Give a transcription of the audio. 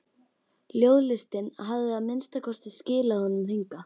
Ljóðlistin hafði að minnsta kosti skilað honum hingað.